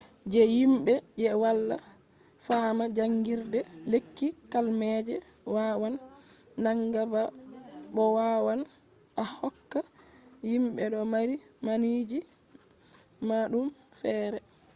je himbe je wala fama jangirde lekki, kalmaje wawan nanga ba bo wawan a hokka himbe do mari manaji madum fere